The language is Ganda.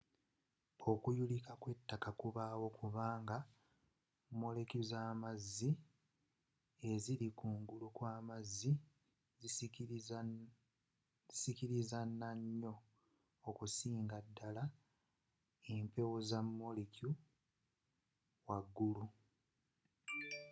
okuyulika kw'ettaka kubawo kubanga molekyu z'amazzi eziri ku ngulu kwa amazzi zisikirizana nnyo okusingira ddala empewo za molekyu waggulu